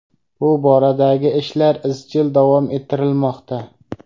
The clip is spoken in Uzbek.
Bu boradagi ishlar izchil davom ettirilmoqda.